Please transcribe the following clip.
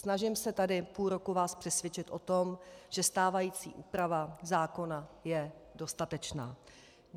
Snažím se tady půl roku vás přesvědčit o tom, že stávající úprava zákona je dostatečná.